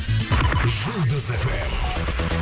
жұлдыз эф эм